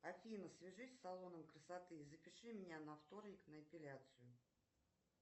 афина свяжись с салоном красоты и запиши меня на вторник на эпиляцию